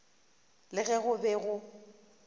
le ge go be go